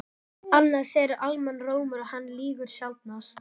Annað segir almannarómur og hann lýgur sjaldnast.